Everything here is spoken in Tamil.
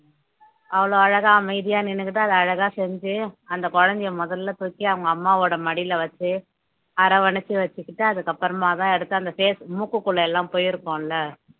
அவ்ளோ அழகா அமைதியா நின்னுகிட்டு அத அழகா செஞ்சு அந்த குழந்தையை முதல்ல தூக்கி அவங்க அம்மாவோட மடியில வச்சு அரவணைச்சு வச்சுக்கிட்டு அதுக்கப்புறமாதான் எடுத்து அந்த face மூக்குக்குள்ள எல்லாம் போயிருக்கும் இல்ல